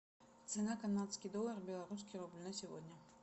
цена канадский доллар белорусский рубль на сегодня